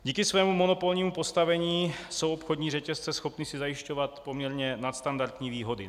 Díky svému monopolnímu postavení jsou obchodní řetězce schopny si zajišťovat poměrně nadstandardní výhody.